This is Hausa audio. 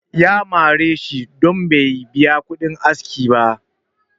ya mare shi don Bai biya kudin aski ba